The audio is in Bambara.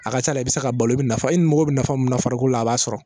A ka ca a la i bɛ se ka balo i bɛ nafa i ni mago bɛ nafa minnu na farikolo la a b'a sɔrɔ